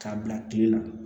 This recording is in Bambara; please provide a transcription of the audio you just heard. K'a bila kile la